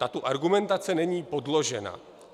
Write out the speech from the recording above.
Tato argumentace není podložena.